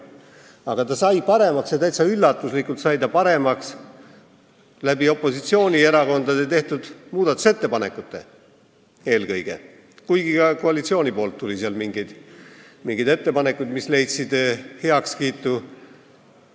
Aga ta sai paremaks ja täitsa üllatuslikult sai ta paremaks eelkõige opositsioonierakondade tehtud muudatusettepanekute abil, kuigi ka koalitsioonilt tuli mingeid ettepanekuid, mis leidsid heakskiitu.